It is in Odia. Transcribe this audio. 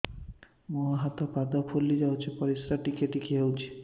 ମୁହଁ ହାତ ପାଦ ଫୁଲି ଯାଉଛି ପରିସ୍ରା ଟିକେ ଟିକେ ହଉଛି